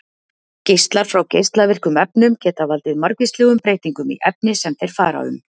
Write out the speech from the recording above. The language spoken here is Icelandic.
Geislar frá geislavirkum efnum geta valdið margvíslegum breytingum í efni sem þeir fara um.